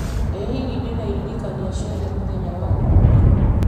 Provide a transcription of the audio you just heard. ĩ hihi ndĩna iririkania o ciothe mũthenya wa ũmũthĩ